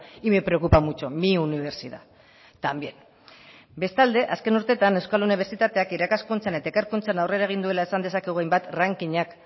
y me preocupa mucho mi universidad también bestalde azken urteetan euskal unibertsitateak irakaskuntzan eta ikerkuntzan aurrera egin duela esan dezakegu hainbat rankingak